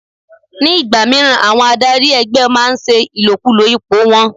Ní ìgbà míràn, àwọn adarí ẹgbẹ́ máa ń ṣe ìlòkulò ipò wọn.